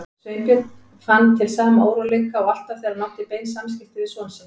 Sveinbjörn fann til sama óróleika og alltaf þegar hann átti bein samskipti við son sinn.